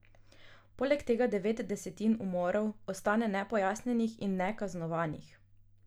Poleg tega devet desetin umorov ostane nepojasnjenih in nekaznovanih.